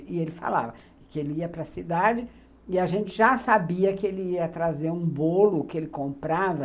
E ele falava que ele ia para cidade e a gente já sabia que ele ia trazer um bolo que ele comprava